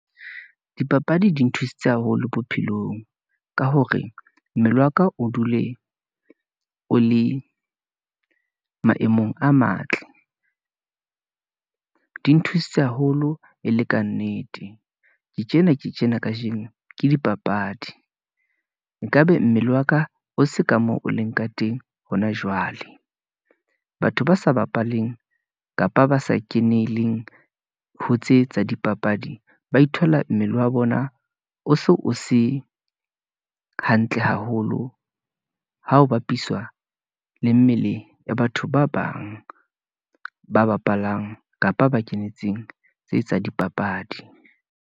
Dipapadi di nthusitse haholo bophelong, ka hore mmele waka o dule o le maemong a matle , di nthusitse haholo e le kannete. Ke tjena ke tjena kajeno ke dipapadi, nkabe mmele wa ka, o se ka moo o leng ka teng hona jwale. Batho ba sa bapaleng kapa ba sa keneleng ho tse tsa dipapadi, ba ithola mmele wa bona o se o se hantle haholo, ha ho bapiswa le mmele ya batho ba bang ba bapalang, kapa ba kenetseng tse tsa dipapadi.